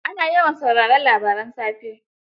Ana yawan sauraren labaran safe.